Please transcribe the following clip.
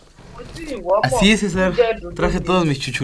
àwọn tí ìwọ mọ́ ń jẹ́ dọ̀dọ̀ tẹ̀mí ni